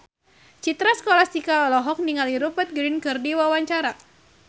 Citra Scholastika olohok ningali Rupert Grin keur diwawancara